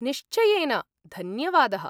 निश्चयेन, धन्यवादः!